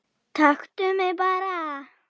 Taktu mig bara